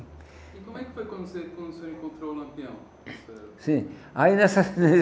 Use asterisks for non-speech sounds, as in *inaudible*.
E como é que foi quando você quando o senhor encontrou o Lampião? Sim, aí nessas *unintelligible*